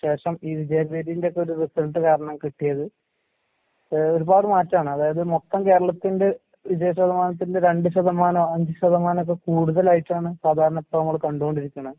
ശേഷം ഈ വിജയവീഥീൻ്റൊക്കൊരു റിസൾട്ട് കാരണം കിട്ടിയത് ഏഹ് ഒരുപാട് മാറ്റാണ്. അതായത് മൊത്തം കേരളത്തിന്റെ വിജയ ശതമാനത്തിന്റെ രണ്ട്‌ ശതമാനോ അഞ്ച് ശതമാനോക്കെ കൂടുതലായിട്ടാണ് സാധാരണ ഇപ്പ നമ്മള് കണ്ടുകൊണ്ടിരിക്കണെ.